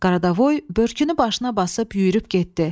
Qaradavoy börkünü başına basıb yüyürüb getdi.